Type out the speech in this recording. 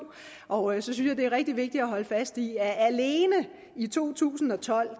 og så synes jeg det er rigtig vigtigt at holde fast i at alene i to tusind og tolv